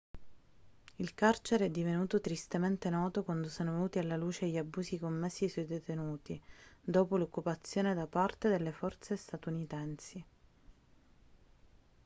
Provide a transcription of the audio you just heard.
il carcere è divenuto tristemente noto quando sono venuti alla luce gli abusi commessi sui detenuti dopo l'occupazione da parte delle forze statunitensi